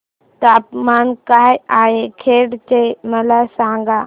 तापमान काय आहे खेड चे मला सांगा